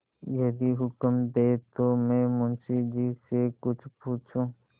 यदि हुक्म दें तो मैं मुंशी जी से कुछ पूछूँ